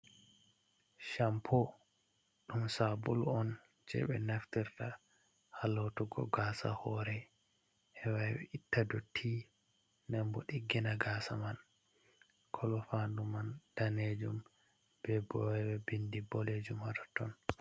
Shampo dum sabulu on je be naftirta halotugo gasa hore hewa ittadotti ,denbo digina gasa man kolo fandu man danejum be bowe bindi bodejum ha toton.